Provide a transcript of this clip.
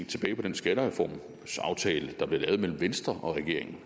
tilbage på den skattereformsaftale der blev lavet mellem venstre og regeringen